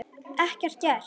Ekkert gert?